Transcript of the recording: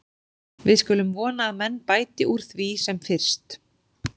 Við skulum vona að menn bæti úr því sem fyrst.